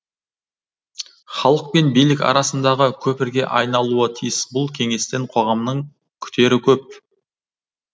халық пен билік арасындағы көпірге айналуы тиіс бұл кеңестен қоғамның күтері көп